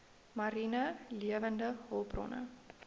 mariene lewende hulpbronne